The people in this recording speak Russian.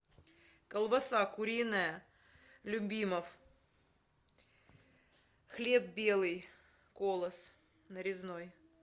колбаса куриная любимов хлеб белый колос нарезной